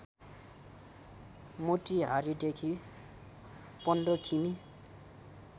मोतिहारीदेखि १५ किमि